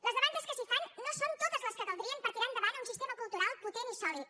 les demandes que s’hi fan no són totes les que caldrien per tirar endavant un sistema cultural potent i sòlid